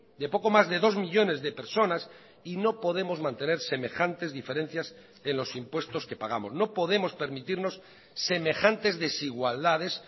de poco más de dos millónes de personas y no podemos mantener semejantes diferencias en los impuestos que pagamos no podemos permitirnos semejantes desigualdades